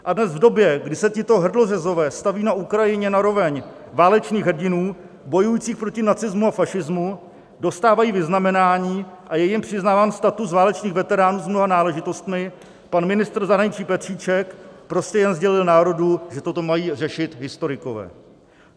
A dnes, v době, kdy se tito hrdlořezové staví na Ukrajině na roveň válečných hrdinů bojujících proti nacismu a fašismu, dostávají vyznamenání a je jim přiznáván status válečných veteránů s mnoha náležitostmi, pan ministr zahraničí Petříček prostě jen sdělil národu, že toto mají řešit historikové.